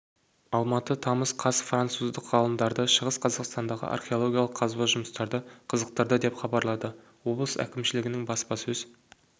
алматы тамыз қаз француздық ғалымдарды шығыс қазақстандағы археологиялық қазба жұмыстары қызықтырды деп хабарлады облыс әкімшілігінің баспасөз